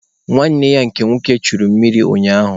Nwanne ya nke nwoke churu mmiri ụnyaahụ